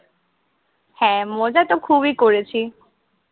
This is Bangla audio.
হ্যাঁ, মজাতো খুবই করেছি।